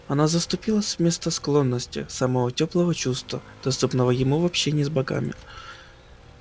она заступила с место склонности самого тёплого чувства доступного ему в общении с богами